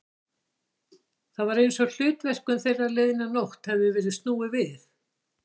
Það var einsog hlutverkum þeirra liðna nótt hefði verið snúið við.